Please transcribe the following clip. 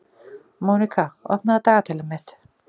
Mónika, opnaðu dagatalið mitt.